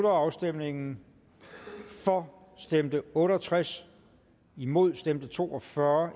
afstemningen for stemte otte og tres imod stemte to og fyrre